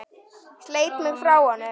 Sleit mig frá honum.